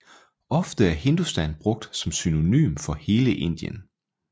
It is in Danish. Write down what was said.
Ofte er Hindustan brugt som synonym for hele Indien